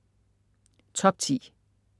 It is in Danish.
Top 10